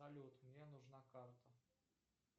салют мне нужна карта